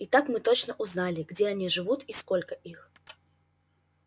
и так мы точно узнали где они живут и сколько их